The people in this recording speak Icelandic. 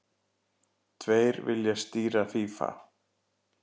Tveir vilja stýra FÍA